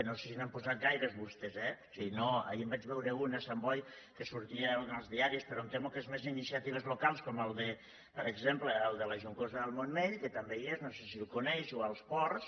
no sé si n’han posats gaires vostès eh ahir en vaig veure un a sant boi que sortia en els diaris però em temo que són més iniciatives locals com per exemple el de la joncosa del montmell que també hi és no sé si el coneix o el dels ports